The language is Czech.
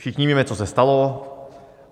Všichni víme, co se stalo.